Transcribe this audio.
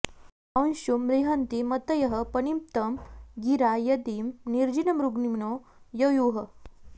अं॒शुं रि॑हन्ति म॒तयः॒ पनि॑प्नतं गि॒रा यदि॑ नि॒र्णिज॑मृ॒ग्मिणो॑ य॒युः